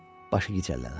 Başı gicəllənər.